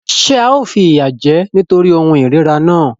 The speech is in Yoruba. Ṣé ao fìyà jẹ ẹ́ nítorí ohun ìríra náà?